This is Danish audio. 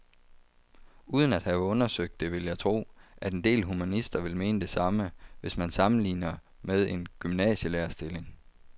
Uden at have undersøgt det vil jeg tro, at en del humanister vil mene det samme, hvis man sammenligner med en gymnasielærerstilling.